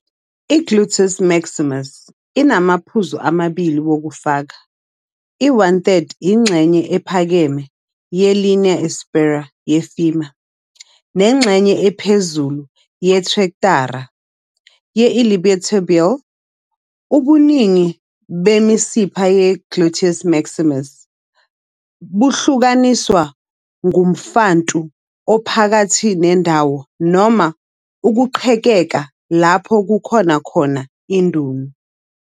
I-gluteus maximus inamaphuzu amabili wokufaka, i-one third ingxenye ephakeme ye-linea aspera ye-femur, nengxenye ephezulu yetrektara ye-iliotibial. Ubuningi bemisipha ye-gluteus maximus buhlukaniswe ngomfantu ophakathi nendawo noma "ukuqhekeka" lapho kukhona khona indunu.